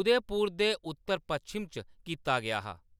उदयपुर दे उत्तर-पच्छम च कीता गेआ हा।